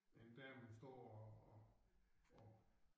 En dame står og og og